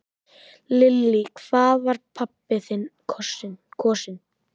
Lillý: Hvað var pabbi þinn kosinn?